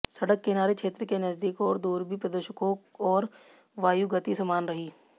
सड़क किनारे क्षेत्र के नजदीक और दूर भी प्रदूषकों और वायु गति समान रही